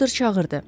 Doktor çağırdı.